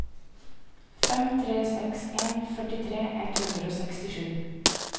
fem tre seks en førtitre ett hundre og sekstisju